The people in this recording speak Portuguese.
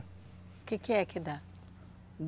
O que que é que dá?